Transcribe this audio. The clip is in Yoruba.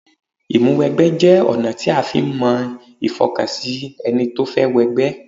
Ìmúwẹgbẹ́ jẹ́ ọ̀nà tí a fi ń mọ ìfọkànsìn ẹni tó fẹ́ wọ ẹgbẹ́